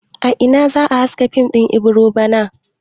A ina ne za a haska fim din Ibiro bana?